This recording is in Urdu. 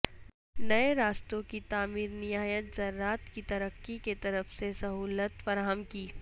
نئے راستوں کی تعمیر نہایت زراعت کی ترقی کی طرف سے سہولت فراہم کی